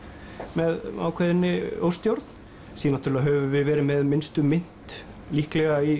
með ákveðinni óstjórn síðan höfum við verið með minnstu mynt líklega í